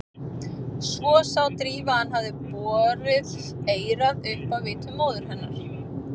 Svo sá Drífa að hann hafði borið eyrað upp að vitum móður hennar.